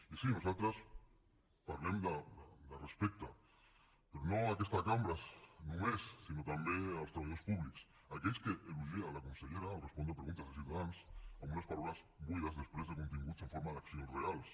i sí nosaltres parlem de respecte però no a aquesta cambra només sinó també als treballadors públics aquells que elogia la consellera al respondre preguntes de ciutadans amb unes paraules buides després de continguts en forma d’accions reals